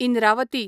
Indravati